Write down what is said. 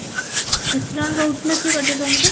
କେତେ ଜଣ ରହୁଥିଲ କି ଗୋଟେ room ରେ?